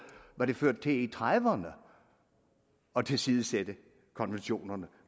hvad det førte til i nitten tredive ’erne at tilsidesætte konventionerne